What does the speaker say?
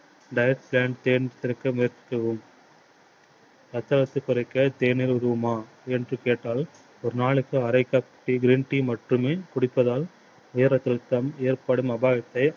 diet plan change செய்ய முயற்சிக்கவும். ரத்த அழுத்ததை குறைக்க தேநீர் உதவுமா என்று கேட்டால் ஒரு நாளைக்கு அரை cup தேநீர் tea மட்டுமே குடிப்பதால் உயர் ரத்த அழுத்தம் ஏற்படும் அபாயத்தை